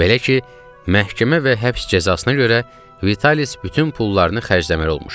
Belə ki, məhkəmə və həbs cəzasına görə Vitalis bütün pullarını xərcləməli olmuşdu.